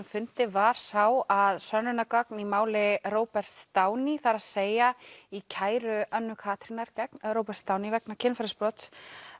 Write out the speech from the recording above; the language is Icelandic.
fundi var sá að sönnunargögn í máli Roberts Downey það er að segja í kæru Önnu Katrínar gegn Roberts vegna kynferðisbrots